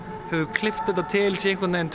klippt til sé einhvern veginn